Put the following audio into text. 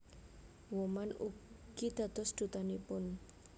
Woman ugi dados Dutanipun